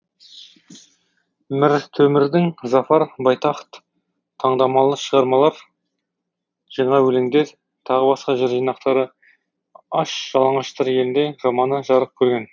міртөмірдің зафар байтахт таңдамалы шығармалар жаңа өлеңдер тағы басқа жыр жинақтары аш жалаңаштар елінде романы жарық көрген